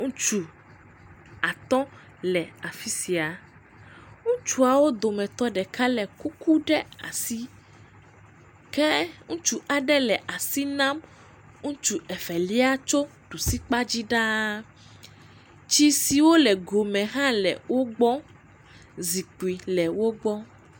Ŋutsu atɔ̃ le afi sia. Ŋutsuawo dometɔ ɖeka le kuku ɖe asi. Ke ŋutsu aɖe le asi nam ŋutsu Evelia tso ɖusikpadzzi ɖaa. Tsi siwo le gome hã le wo gbɔ. Zikpui le wogbɔ.